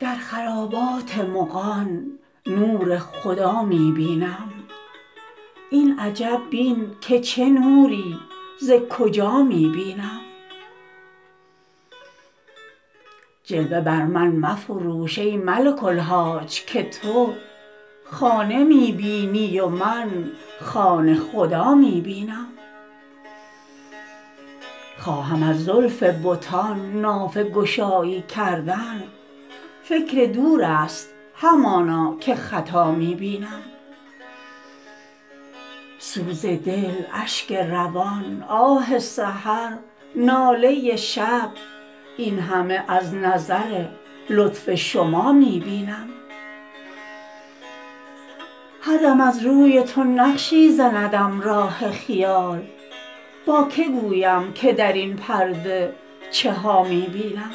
در خرابات مغان نور خدا می بینم این عجب بین که چه نوری ز کجا می بینم جلوه بر من مفروش ای ملک الحاج که تو خانه می بینی و من خانه خدا می بینم خواهم از زلف بتان نافه گشایی کردن فکر دور است همانا که خطا می بینم سوز دل اشک روان آه سحر ناله شب این همه از نظر لطف شما می بینم هر دم از روی تو نقشی زندم راه خیال با که گویم که در این پرده چه ها می بینم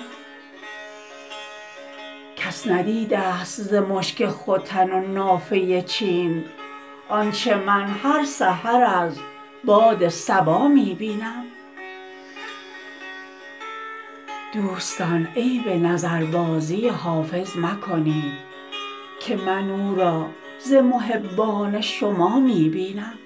کس ندیده ست ز مشک ختن و نافه چین آنچه من هر سحر از باد صبا می بینم دوستان عیب نظربازی حافظ مکنید که من او را ز محبان شما می بینم